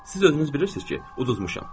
Siz özünüz bilirsiz ki, uduzmuşam.